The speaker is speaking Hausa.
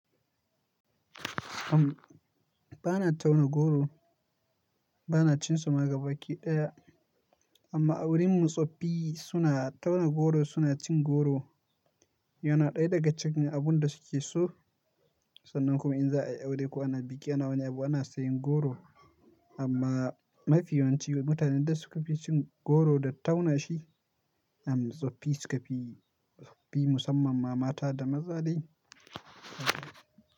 Bana tauna goro, bana cin su ma gabaɗaya, amma a wurin mu tsoffi suna tauna goro suna cin goro. Yana ɗaya daga cikin abun da suke so. Sannan kuma in za ayi aure ko ana biki ana wani abu ana siyan goro. Amma mafi yawanci mutanen da suke fi cin goro da tauna shi, tsoffi suke fi, tsoffi musamman ma mata da maza ne.